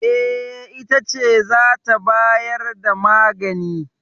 E, ita ce za ta bayar da magani.